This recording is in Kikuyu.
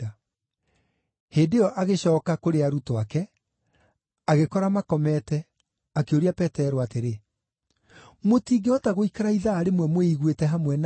Hĩndĩ ĩyo agĩcooka kũrĩ arutwo ake, agĩkora makomete, akĩũria Petero atĩrĩ, “Mũtingĩhota gũikara ithaa rĩmwe mwĩiguĩte hamwe na niĩ?